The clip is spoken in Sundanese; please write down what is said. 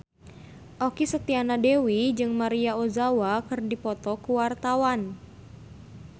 Okky Setiana Dewi jeung Maria Ozawa keur dipoto ku wartawan